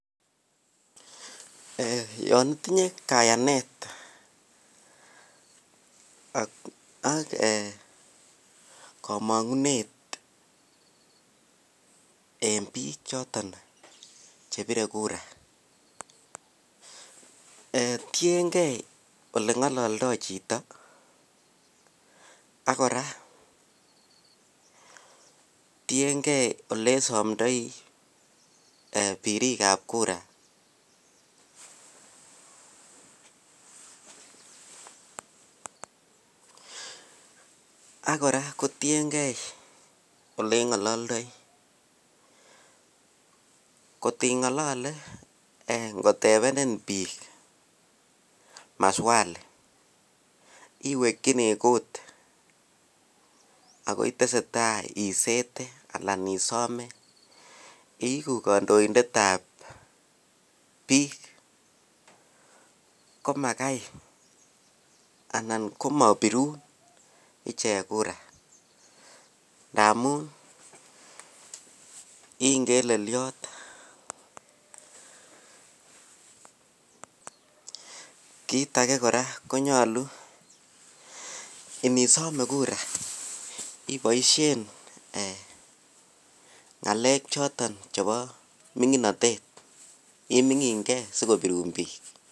Yon itinye kayanet ak kamunget en bik choton Che bire kura tienge Ole ngololdo chito ak kora tiengei Ole somdoi birikap kura ak kora kotiengei Ole ngololdoi kot ingolole ngotebenin bik maswali iwekyini kut ako itesetai isete anan Isome iigu kandoindet ab bik komagai anan komabirun ichek kura ndamun I ngelelyot kit age kora ko nyolu inisome kura iboisien ngalek choton chebo minginotet imingin ge asikobirun bik